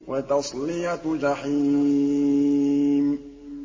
وَتَصْلِيَةُ جَحِيمٍ